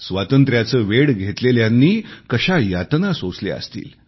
स्वातंत्र्याचे वेड घेतलेल्यांनी कशा यातना सोसल्या असतील